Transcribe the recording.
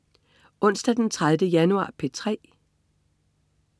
Onsdag den 30. januar - P3: